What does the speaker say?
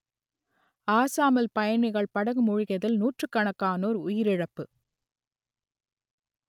அசாமில் பயணிகள் படகு மூழ்கியதில் நூற்றுக்கணக்கானோர் உயிரிழப்பு